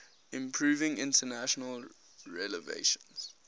improving international relations